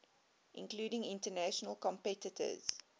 including international competitors